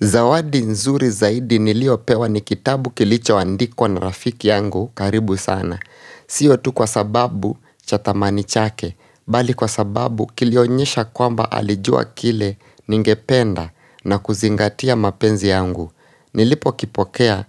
Zawadi nzuri zaidi niliopewa ni kitabu kilicho andikwa na rafiki yangu karibu sana. Siyo tu kwa sababu cha tamani chake, bali kwa sababu kilionyesha kwamba alijua kile ningependa na kuzingatia mapenzi yangu. Nilipo kipokea